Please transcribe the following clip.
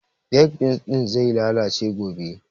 Baked beans ɗin zai lalace gobe